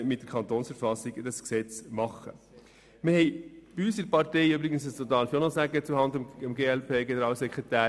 Zuhanden des Generalsekretärs der glp möchte ich noch auf folgendes hinweisen: